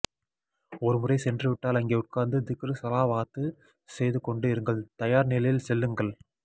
ஒரு முறை சென்று விட்டால் அங்கே உட்காந்து திக்ர் சலாவாத்து செய்து கொண்டு இருங்கள் தயார் நிலையில் செல்லுங்கள்